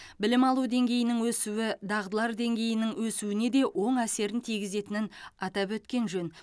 білім алу деңгейінің өсуі дағдылар деңгейінің өсуіне де оң әсерін тигізетінін атап өткен жөн